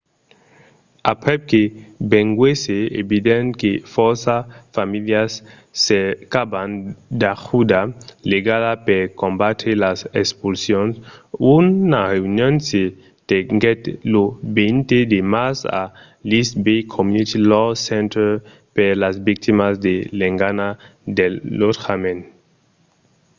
aprèp que venguèsse evident que fòrça familhas cercavan d’ajuda legala per combatre las expulsions una reünion se tenguèt lo 20 de març a l’east bay community law center per las victimas de l'engana del lotjament